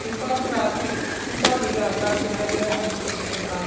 ऊपर राती ऊपर नीला आकाश दिखाई दे रहा है जिसपे सफ़ेद बादल --